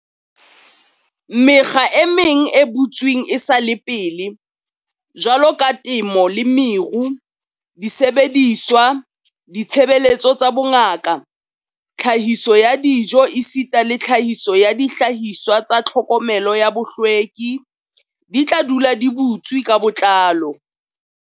Mekga e meng e butsweng esale pele, jwalo ka temo le meru, disebediswa, ditshebeletso tsa bongaka, tlhahiso ya dijo esita le tlhahiso ya dihlahiswa tsa tlhokomelo ya bohlweki, di tla dula di butswe ka botlalo.